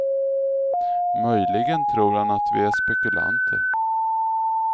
Möjligen tror han att vi är spekulanter.